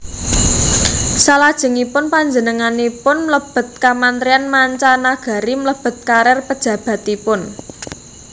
Salajengipun panjenenganipun mlebet Kamentrian Manca Nagari mbelet karir pejabatipun